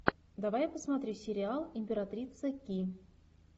давай я посмотрю сериал императрица ки